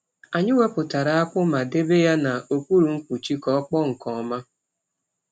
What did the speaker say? Anyị wepụtara akpụ ma debe ya n’okpuru mkpuchi ka ọ kpọọ nke ọma.